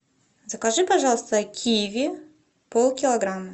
закажи пожалуйста киви пол килограмма